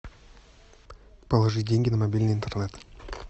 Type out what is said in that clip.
положи деньги на мобильный интернет